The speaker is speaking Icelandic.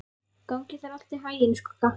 Gangi þér allt í haginn, Skugga.